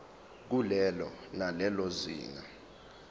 kulelo nalelo zinga